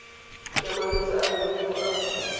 ya malwetse a leruo a